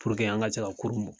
Puruke an ka se ka kurun in bɔ.